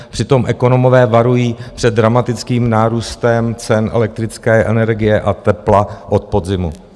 Přitom ekonomové varují před dramatickým nárůstem cen elektrické energie a tepla od podzimu.